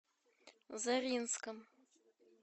заринском